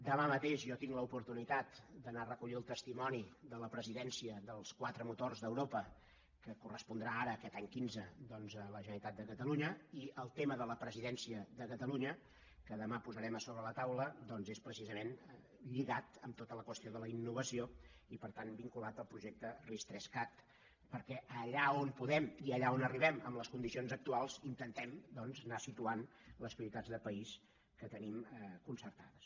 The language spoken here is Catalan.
demà mateix jo tinc l’oportunitat d’anar a recollir el testimoni de la presidència dels quatre motors d’europa que correspondrà ara aquest any quinze doncs a la generalitat de catalunya i el tema de la presidència de catalunya que demà posarem a sobre la taula doncs és precisament lligat amb tota la qüestió de la innovació i per tant vinculat al projecte ris3cat perquè allà on podem i allà on arribem amb les condicions actuals intentem anar situant les prioritats de país que tenim concertades